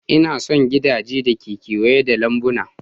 Ina son gidajen da ke kewaye da lambuna.